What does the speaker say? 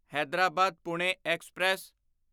Hyderabad Pune express